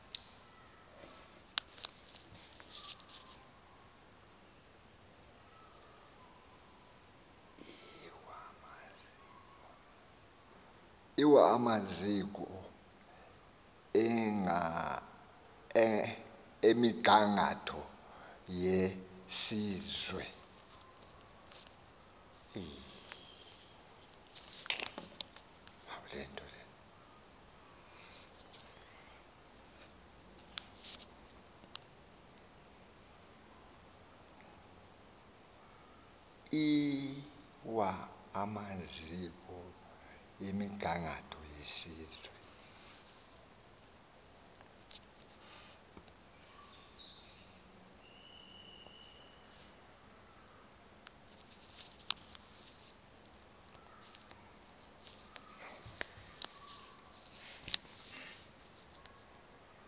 lwamaziko emigangatho yesizwe